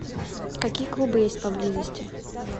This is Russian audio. какие клубы есть поблизости